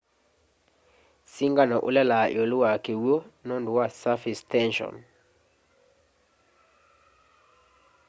singano ulelaa iulu wa kiw'u nundu wa surface tension